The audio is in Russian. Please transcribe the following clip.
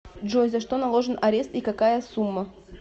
джой за что наложен арест и какая сумма